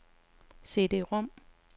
CD-rom